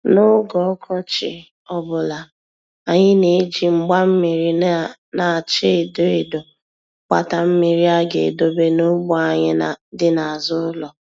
N'oge ọkọchi ọbụla, anyị na-eji mgba mmiri na-acha edo edo gbata mmiri a ga-edobe n'ugbo anyị dị n'azụ ụlọ.